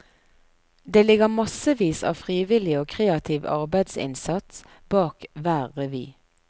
Det ligger massevis av frivillig og kreativ arbeidsinnsats bak hver revy.